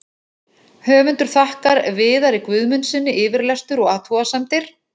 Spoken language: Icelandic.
Höfundur þakkar Viðari Guðmundssyni yfirlestur og athugasemdir.